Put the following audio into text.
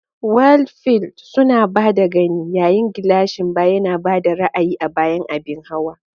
Windfield suna ba da gani, yayin gilashin baya yana ba da ra'ayi a bayan abin hawa.